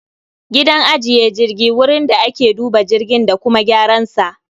Gidan ajiye jirgi wurin da ake duba jirgin da kuma gyaran sa